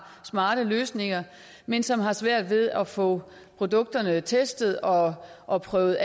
smarte løsninger men som har svært ved at få produkterne testet og afprøvet